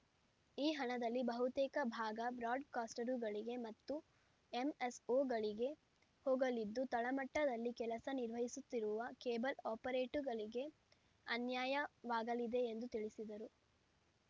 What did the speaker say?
ಈ ಹಣದಲ್ಲಿ ಬಹುತೇಕ ಭಾಗ ಬ್ರಾಡ್‌ಕಾಸ್ಟರುಗಳಿಗೆ ಮತ್ತು ಎಂಎಸ್‌ಒ ಗಳಿಗೆ ಹೋಗಲಿದ್ದು ತಳಮಟ್ಟದಲ್ಲಿ ಕೆಲಸ ನಿರ್ವಹಿಸುತ್ತಿರುವ ಕೇಬಲ್‌ ಆಪರೇಟರುಗಳಿಗೆ ಅನ್ಯಾಯವಾಗಲಿದೆ ಎಂದು ತಿಳಿಸಿದರು